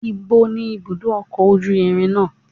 Níbo ni ibùdó ọkọ̀ ojú irin náà?